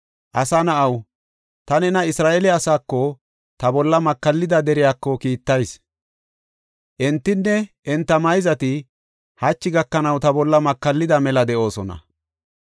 “Asa na7aw, ta nena Isra7eele asaako, ta bolla makallida deriyako kiittayis. Entinne enta mayzati hachi gakanaw ta bolla makallida mela de7oosona.